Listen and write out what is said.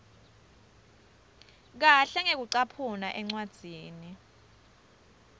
kahle ngekucaphuna encwadzini